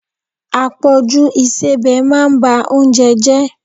Àpọjù ìsebẹ̀ máa ba oúnjẹ jẹ.